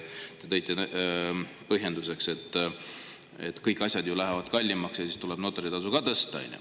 Te tõite põhjenduseks, et kõik asjad lähevad kallimaks ja seetõttu tuleb ka notaritasu tõsta.